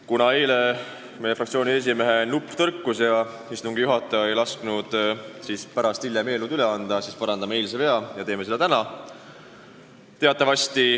Kuna eile meie fraktsiooni esimehe nupp puldil tõrkus ja istungi juhataja ei lasknud pärast eelnõu üle anda, siis parandame eilse vea ja teeme seda täna.